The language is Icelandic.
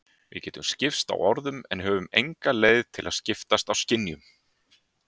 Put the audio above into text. Við getum skipst á orðum en höfum enga leið til að skiptast á skynjunum.